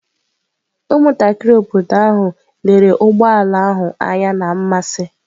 Ụmụntakịrị obodo ahụ lere ụgbọ ala ahụ anya na mmasị.